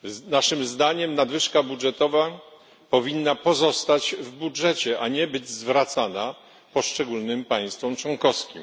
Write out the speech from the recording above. Naszym zdaniem nadwyżka budżetowa powinna pozostać w budżecie, a nie być zwracana poszczególnym państwom członkowskim.